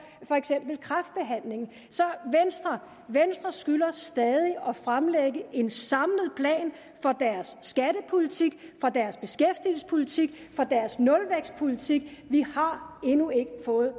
for eksempel kræftbehandling så venstre skylder stadig at fremlægge en samlet plan for deres skattepolitik for deres beskæftigelsespolitik for deres nulvækstpolitik vi har endnu ikke fået